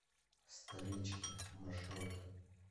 столички маршрут